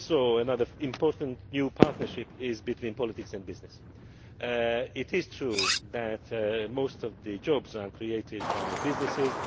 Another important new partnership is between politics and business. It is true that most jobs are created by businesses.